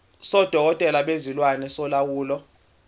sodokotela bezilwane solawulo